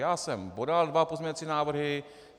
Já jsem podal dva pozměňovací návrhy.